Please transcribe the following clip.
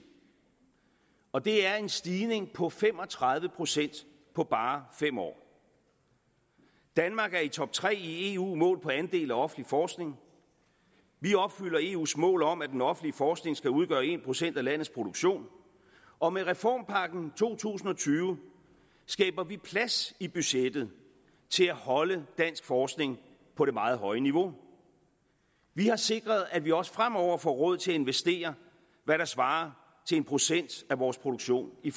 og det er en stigning på fem og tredive procent på bare fem år danmark er i top tre i eu målt på andel af offentlig forskning vi opfylder eus mål om at den offentlige forskning skal udgøre en procent af landets produktion og med reformpakken to tusind og tyve skaber vi plads i budgettet til at holde dansk forskning på det meget høje niveau vi har sikret at vi også fremover får råd til at investere hvad der svarer til en procent af vores produktion i